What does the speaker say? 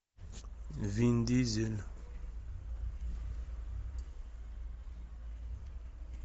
вин дизель